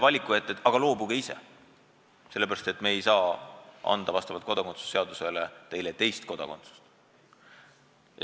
Me ei taha neile öelda, et loobuge ise ühest kodakondsusest, sellepärast et me ei saa teile vastavalt kodakondsuse seadusele lubada teist kodakondsust.